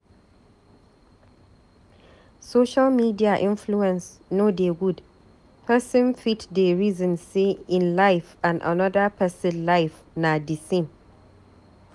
Social media influence no dey good, pesin fit dey resin sey ein life and anoda pesin life na di same.